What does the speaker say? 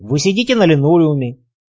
вы сидите на линолеуме